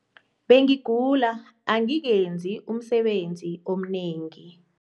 Bengigula angikenzi umsebenzi omnengi.